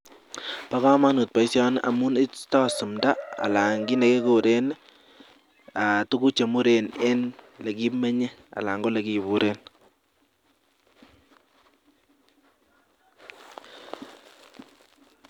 Ba kamanut baishoni amun istae sumdo anan kit nekikuren tuguk Chemiten en olekimenye anan yelekibure